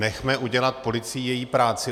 Nechme udělat policii její práci.